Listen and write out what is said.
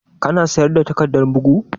Ka na sayar da takardar bugu?